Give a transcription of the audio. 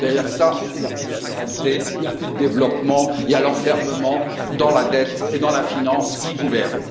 Derrière cela, il n'y a plus de souveraineté, il n'y a plus de développement, il y a l'enfermement dans la dette et dans la finance qui gouverne.